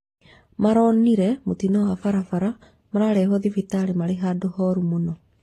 Maronire mũtino wa bararabara mararehwo thibitarĩ marĩ handu horu mũno